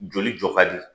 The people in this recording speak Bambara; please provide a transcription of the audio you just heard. Joli jɔ ka di